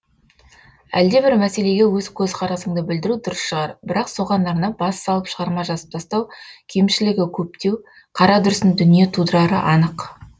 әлдебір мәселеге өз көзқарасыңды білдіру дұрыс шығар бірақ соған арнап бас салып шығарма жазып тастау кемшілігі көптеу қарадүрсін дүние тудырары анық